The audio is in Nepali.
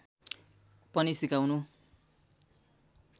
पनि सकाउनु